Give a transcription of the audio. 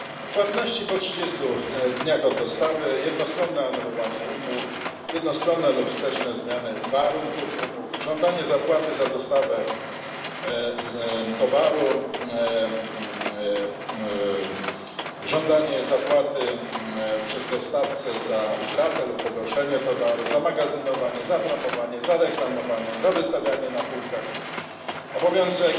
Płatności po trzydziestu dniach od dostawy, jednostronne anulowanie umów, jednostronne lub wsteczne zmiany warunków umów, żądanie zapłaty za dostawę towaru, żądanie zapłaty przez dostawcę za utratę lub pogorszenie towaru, za magazynowanie, za promowanie, za reklamowanie, za wystawianie na półkach, także obowiązek